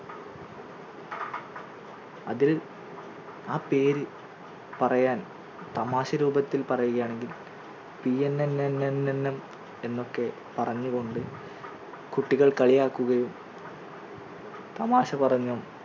അതിൽ ആ പേര് പറയാൻ തമാശ രൂപത്തിൽ പറയുകയാണെങ്കി PNNMLP എന്നൊക്കെ പറഞ്ഞുകൊണ്ട് കുട്ടികൾ കളിയാക്കുകയും തമാശ പറഞ്ഞും